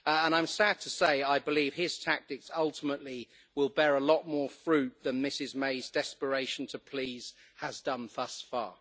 I am sad to say I believe his tactics ultimately will bear a lot more fruit than Mrs May's desperation to please has done thus far.